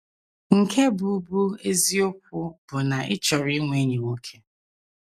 Nke bụ́ bụ́ eziokwu bụ na ị chọrọ inwe enyi nwoke.